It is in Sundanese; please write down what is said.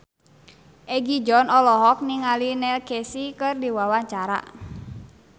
Egi John olohok ningali Neil Casey keur diwawancara